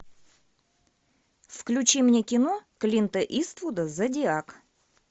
включи мне кино клинта иствуда зодиак